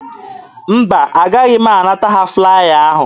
Mba, agaghị m anata ha flaya ahụ.